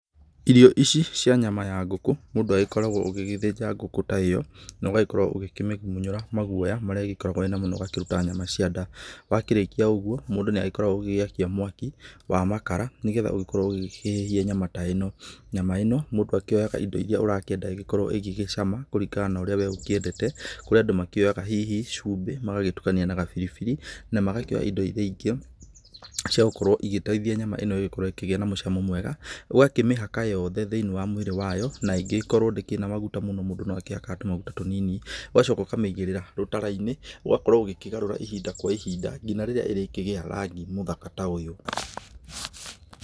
Irio ici cia nyama ya ngũkũ, mũndũ agĩkoragwo ũgĩgĩthĩnja ngũkũ ta ĩyo, na ũgagĩkorwo ũgĩkĩmĩmunyũra maguoya marĩa ĩgĩkoragwo ĩnamo na ũgakĩruta nyama cia nda. Wakĩrĩkia ũgũo, mũndũ nĩ agĩkoragwo ũgĩgĩakia mwaki wa makara, nĩgetha ũgĩkorwo ũgĩkĩhĩhia nyama ta ĩno. Nyama ĩno, mũndũ akĩoyaga indo irĩa ũkoragwo ũgĩkĩenda ĩgĩkorwo ĩgĩcama, kũringana na ũrĩa we ũkĩendete, kũrĩ andũ makĩoyaga hihi cumbĩ, magagĩtukania na gabiribiri, na magagĩkĩra indo irĩa ingĩ cia gũkorwo igĩteithia nyama ĩno ĩgĩkorwo ĩkĩgĩa na mũcamo mwega, ũgakĩmĩhaka yothe thĩiniĩ wa mwĩrĩ wayo, na ĩngĩgĩkorwo ndĩkĩrĩ na maguta mũno mũndũ no akĩhakaga tũmaguta tũnini, ũgacoka ũkamĩigĩrĩra rũtara-inĩ, ũgakorwo ũgĩkĩgarũra ihinda kwa ihinda nginya rĩrĩa ĩrĩkĩgĩa rangi mũthaka ta ũyũ.